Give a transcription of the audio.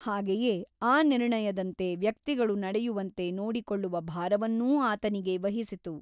ಹಾಗೆಯೇ ಆ ನಿರ್ಣಯದಂತೆ ವ್ಯಕ್ತಿಗಳು ನಡೆಯುವಂತೆ ನೋಡಿಕೊಳ್ಳುವ ಭಾರವನ್ನೂ ಆತನಿಗೇ ವಹಿಸಿತು.